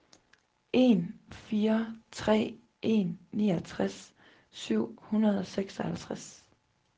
en fire tre en niogtres syv hundrede og seksoghalvtreds